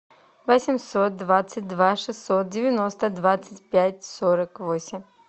восемьсот двадцать два шестьсот девяносто двадцать пять сорок восемь